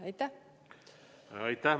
Aitäh!